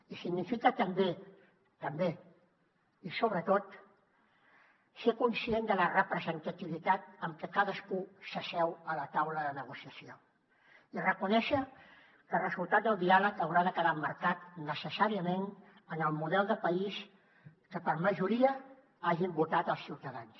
i significa també també i sobretot ser conscient de la representativitat amb què cadascú s’asseu a la taula de negociació i reconèixer que el resultat del diàleg haurà de quedar emmarcat necessàriament en el model de país que per majoria hagin votat els ciutadans